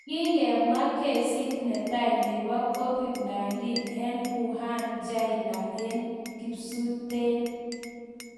kigemwa gesiit netai nepo Covid-19 en Wuhan, Chaina en kipsuunteen